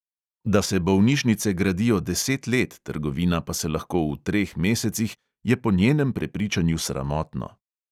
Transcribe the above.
Da se bolnišnice gradijo deset let, trgovina pa se lahko v treh mesecih, je po njenem prepričanju sramotno.